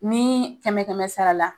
Ni kɛmɛ kɛmɛ sara la